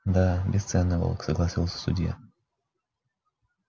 да бесценный волк согласился судья